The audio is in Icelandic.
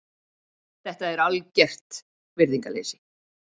Þetta er algert virðingarleysi.